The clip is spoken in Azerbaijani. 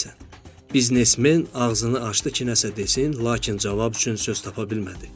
Biznesmen ağzını açdı ki nəsə desin, lakin cavab üçün söz tapa bilmədi.